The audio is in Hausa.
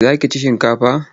Za ki ci shinkafa?